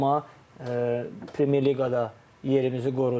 Amma Premyer Liqada yerimizi qoruduq.